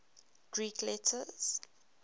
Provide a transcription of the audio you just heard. greek letters